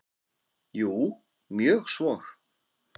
Jú, mjög svo.